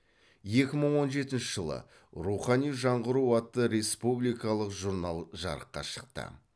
екі мың он жетінші жылы рухани жаңғыру атты республикалық журнал жарыққа шықты